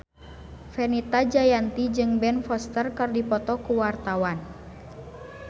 Fenita Jayanti jeung Ben Foster keur dipoto ku wartawan